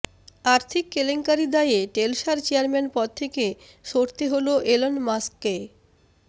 আর্থিক কেলেঙ্কারির দায়ে টেলসার চেয়ারম্যান পদ থেকে সরতে হল এলন মাস্ককে